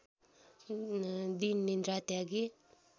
दिन निद्रा त्यागी